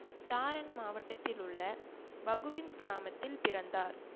தாரன் மாவட்டத்திலுள்ள வகுவின் கிராமத்தில் பிறந்தார்